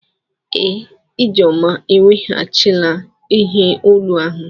Ee, Ijeoma eweghachila ihe olu ahụ.